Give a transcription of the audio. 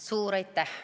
Suur aitäh!